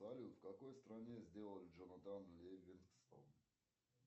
салют в какой стране сделали джонатан ливингстон